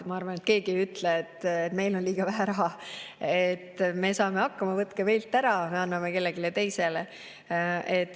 Ma arvan, et keegi ei ütle, et meil on liiga raha, me saame hakkama, võtke meilt ära, anname kellelegi teisele.